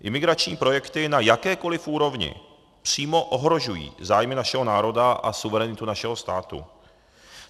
Imigrační projekty na jakékoli úrovni přímo ohrožují zájmy našeho národa a suverenitu našeho státu.